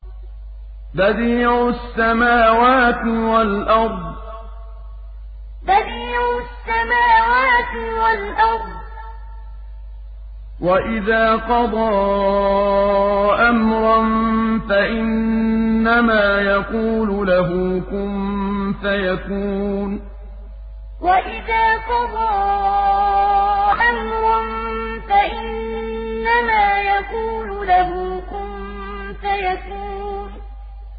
بَدِيعُ السَّمَاوَاتِ وَالْأَرْضِ ۖ وَإِذَا قَضَىٰ أَمْرًا فَإِنَّمَا يَقُولُ لَهُ كُن فَيَكُونُ بَدِيعُ السَّمَاوَاتِ وَالْأَرْضِ ۖ وَإِذَا قَضَىٰ أَمْرًا فَإِنَّمَا يَقُولُ لَهُ كُن فَيَكُونُ